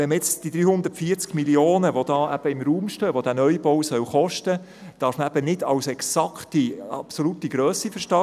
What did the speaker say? Diese 340 Mio. Franken, die jetzt im Raum stehen, darf man nicht als absolute Grösse verstehen.